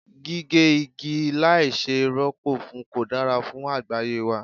Gígé igi láì ṣe ì rọ́pò fún kò dára fún àgbáyé wa.